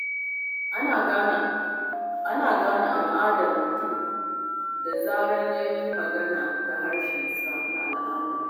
Ana gane ƙabilar mutum da zarar ya yi magana da yarensa na al'ada.